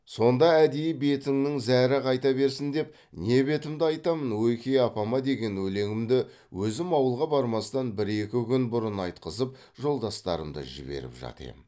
сонда әдейі бетінің зәрі қайта берсін деп не бетімді айтамын ойке апама деген өлеңімді өзім ауылға бармастан бір екі күн бұрын айтқызып жолдастарымды жіберіп жат ем